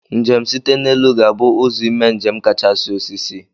Njem site n'elu ga-bu ụzọ ime njem kachasị osisi.